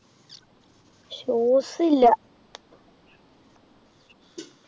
shoes ഇല്ല